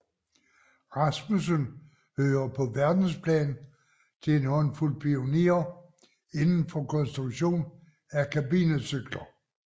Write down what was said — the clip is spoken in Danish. Rasmussen hører på verdensplan til en håndfuld pionerer inden for konstruktion af kabinecykler